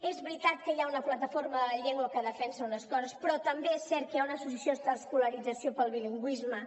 és veritat que hi ha una plataforma de la llengua que defensa unes coses però també és cert que hi ha una associació d’escolarització pel bilingüisme